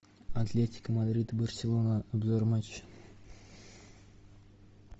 атлетика мадрид барселона обзор матча